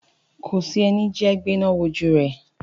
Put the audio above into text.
Kòsí ẹni jẹ́ gbéná wojú rẹ̀.